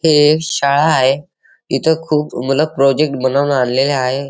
हि एक शाळा आहे इथं खूप मूल प्रोजेक्ट बनवून आणलेली आहे.